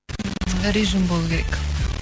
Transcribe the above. ммм режим болу керек